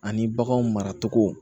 Ani baganw maracogo